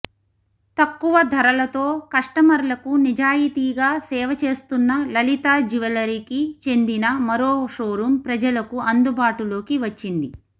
తక్కువ ధరలతో కస్టమర్లకు నిజాయితీగా సేవ చేస్తున్న లలితా జ్వువెలరీకి చెందిన మరో షోరూం ప్రజలకు అందుబాటులోకి వచ్చింది